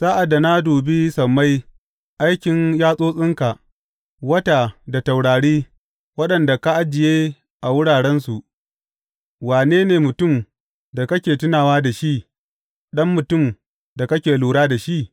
Sa’ad da na dubi sammai, aikin yatsotsinka, wata da taurari waɗanda ka ajiye a wurarensu, wane ne mutum da kake tunawa da shi, ɗan mutum da kake lura da shi?